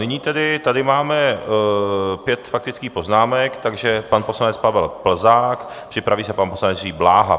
Nyní tedy tady máme pět faktických poznámek, takže pan poslanec Pavel Plzák, připraví se pan poslanec Jiří Bláha.